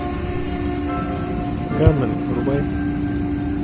ганмен врубай